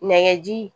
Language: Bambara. Nɛgɛji